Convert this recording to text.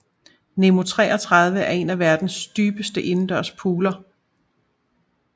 Nemo 33 er en af verdens dybeste indendørs pooler